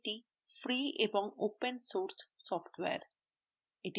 এটি ফ্রিএবং open source software